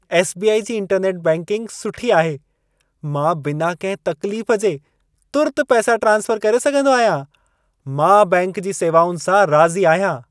SBI. जी internet banking सुठी आहे। मां बिना कहिं तक्लीफ जे तुर्त पैसा ट्रांस्फर करे सघंदो आहियां। मां बैंक जी सेवाउनि सां राज़ी आहियां।